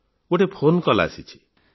ହଁ ଗୋଟିଏ phone call ଆସିଛି